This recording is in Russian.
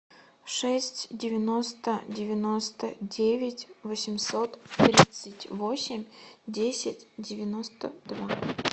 шесть девяносто девяносто девять восемьсот тридцать восемь десять девяносто два